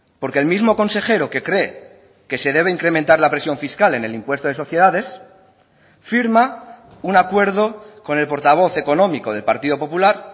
porque el mismo consejero que cree que se debe incrementar la presión fiscal en el impuesto de sociedades firma un acuerdo con el portavoz económico del partido popular